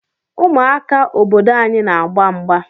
Ụmụaka obodo anyị n'agba mgba.